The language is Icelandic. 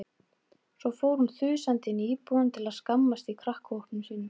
Svo fór hún þusandi inn í íbúðina til að skammast í krakkahópnum sínum.